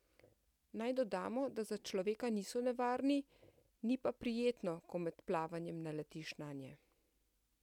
Naj dodamo, da za človeka niso nevarni, ni pa prijetno, ko med plavanjem naletiš nanje.